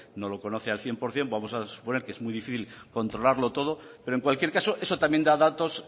no lo conoce al cien por ciento vamos a suponer que es muy difícil controlarlo todo pero en cualquier caso eso también da datos